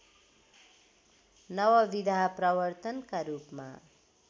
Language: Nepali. नवविधा प्रवर्तनका रूपमा